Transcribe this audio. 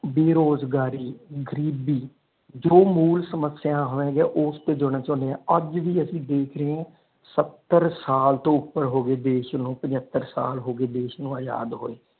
ਬੇਰੋਜ਼ਗਾਰੀ ਗ਼ਰੀਬੀ ਜੋ ਮੂਲ ਸਮੱਸਿਆ ਹੈ ਓਸਤੇ ਜਾਣਾ ਚਾਹੁੰਦੇ ਆ ਅੱਜ ਵੀ ਅਸੀਂ ਦਦੇਖ ਰਹੇ ਆ ਸਤਰ ਸਾਲ ਤੋਂ ਉਪਰ ਹੋ ਗਏ ਦੇਸ਼ ਨੂੰ ਪਜਤਰ ਸਾਲ ਹੋ ਗਏ ਦੇਸ਼ ਨੂੰ ਆਜ਼ਾਦ ਹੋਏ।